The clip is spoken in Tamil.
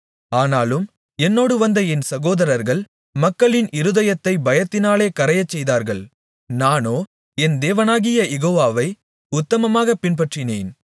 ஆனாலும் என்னோடு வந்த என் சகோதரர்கள் மக்களின் இருதயத்தைப் பயத்தினாலே கரையச்செய்தார்கள் நானோ என் தேவனாகிய யெகோவாவை உத்தமமாகப் பின்பற்றினேன்